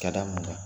Ka da min kan